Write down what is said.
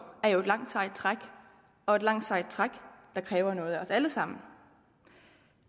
er jo et langt sejt træk og et langt sejt træk der kræver noget af os alle sammen